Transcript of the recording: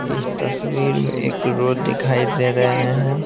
इस तस्वीर में एक रो दिखाई दे रहे हैं।